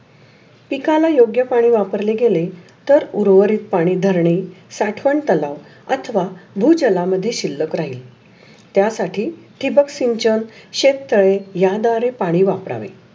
पिकाला योग्य पाणी वापरलेल गेले. तर उर्वरीक पाणी धरणे साठवण तलाव आथवा भुजला मध्ये शिल्लक राहील. त्या साठी टिबक सिंचन शेततळे या द्वारे पाणी वापरावे.